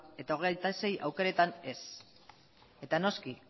eta hogeita sei aukeretan ez eta noski